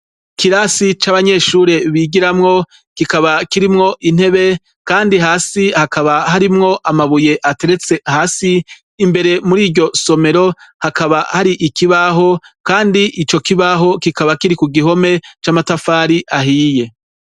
Ikirasi c'abanyeshure bigiramwo, kikaba kirimwo intebe, kandi hasi hakaba harimwo amabuye ateretse hasi. Imbere mur'iryo somero, hakaba hari ikibaho, kandi ico kibaho, kikaba kiri ku gihome c'amatafari ahiye.